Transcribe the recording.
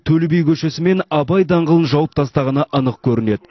төле би көшесі мен абай даңғылын жауып тастағаны анық көрінеді